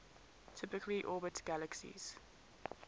typically orbit galaxies